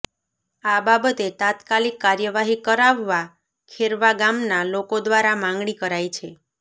આ બાબતે તાત્કાલીક કાર્યવાહી કરાવવા ખેરવા ગામના લોકો દ્વારા માંગણી કરાઈ છે